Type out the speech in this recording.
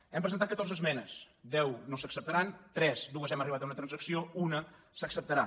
hem presentat catorze esmenes deu no s’acceptaran en dues hem arribat a una transacció una s’acceptarà